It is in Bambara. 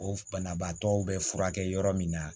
O banabaatɔw bɛ furakɛ yɔrɔ min na